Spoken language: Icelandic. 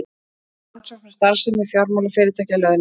Rannsókn á starfsemi fjármálafyrirtækja lögð til